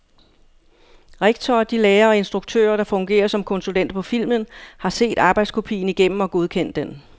Rektor og de lærere og instruktører, der fungerer som konsulenter på filmen, har set arbejdskopien igennem og godkendt den.